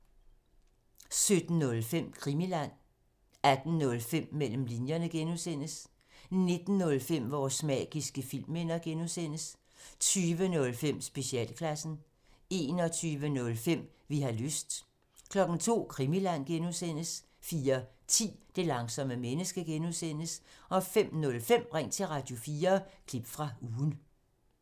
17:05: Krimiland 18:05: Mellem linjerne (G) 19:05: Vores magiske filmminder (G) 20:05: Specialklassen 21:05: Vi har lyst 02:00: Krimiland (G) 04:10: Det Langsomme Menneske (G) 05:05: Ring til Radio4 – Klip fra Ugen